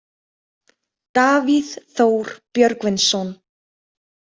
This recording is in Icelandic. Davíð Þór Björgvinsson.